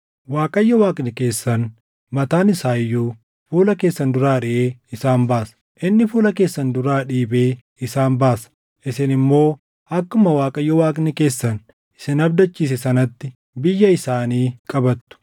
Waaqayyo Waaqni keessan mataan isaa iyyuu fuula keessan duraa ariʼee isaan baasa. Inni fuula keessan duraa dhiibee isaan baasa; isin immoo akkuma Waaqayyo Waaqni keessan isin abdachiise sanatti biyya isaanii qabattu.